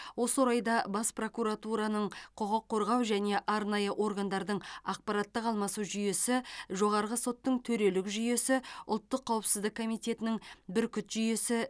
осы орайда бас прокуратураның құқық қорғау және арнайы органдардың ақпараттық алмасу жүйесі жоғарғы соттың төрелік жүйесі ұлттық қауіпсіздік комитетінің бүркіт жүйесі